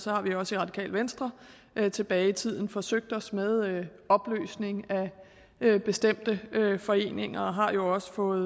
har vi også i radikale venstre tilbage i tiden forsøgt os med opløsning af bestemte foreninger og har jo også fået